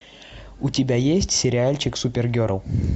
у тебя есть сериальчик супергерл